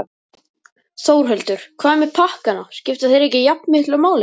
Þórhildur: Hvað með pakkana, skipta þeir ekki jafnmiklu máli?